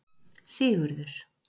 Sigurður